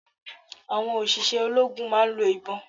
Àwọn òṣìṣẹ́ ológun máa ń lo ìbọn